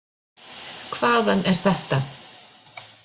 Hvaðan er þetta?